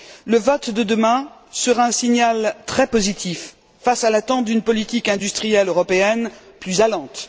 Le vote de demain sera un signal très positif face à l'attente d'une politique industrielle européenne plus allante.